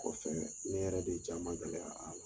Kɔfɛ ne yɛrɛ de jaa man gɛlɛya a